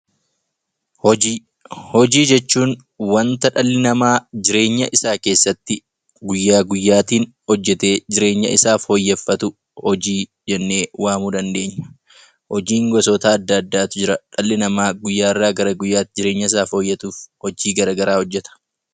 Hojii jechuun wanta dhalli namaa jireenya isaa keessatti guyyaa guyyaatiin hojjatee jireenya isaa fooyyeffatu hojii jennee waamuu dandeenya. Hojiin gosoota adda addaatu Jira. Dhalli namaa guyyaarraa gara guyyaatti jireenya isaa fooyyeffachuuf hojii garaagaraa hojjata.